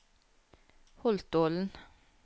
Holtålen